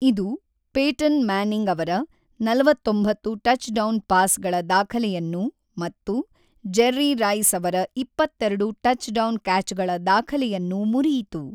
ಇದು Peyton Manning ಅವರ ೪೯ touchdown ಪಾಸ್‌ಗಳ ದಾಖಲೆಯನ್ನು ಮತ್ತು ಜೆರ್ರಿ ರೈಸ್ ಅವರ ೨೨ ಟಚ್‌ಡೌನ್ ಕ್ಯಾಚ್‌ಗಳ ದಾಖಲೆಯನ್ನು ಮುರಿಯಿತು.